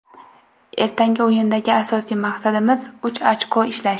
Ertangi o‘yindagi asosiy maqsadimiz uch ochko ishlash.